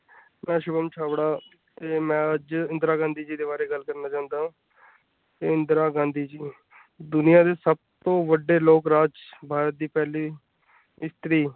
ਮੈਂ ਸ਼ੁਭਮ ਛਾਬੜਾ ਤੇ ਮੈਂ ਅੱਜ ਇੰਦਰਾ ਗਾਂਧੀ ਜੀ ਦੇ ਬਾਰੇ ਗੱਲ ਕਰਨਾ ਚਾਉਂਦਾ ਹਾਂ ਤੇ ਇੰਦਰਾ ਗਾਂਧੀ ਜੀ ਦੁਨੀਆਂ ਦੇ ਸਭ ਤੋਂ ਵੱਡੇ ਲੋਕਰਾਜ ਭਾਰਤ ਦੀ ਪਹਿਲੀ ਇਸਤਰੀ।